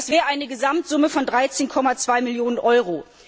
Das wäre eine Gesamtsumme von 13,2 Millionen Euro.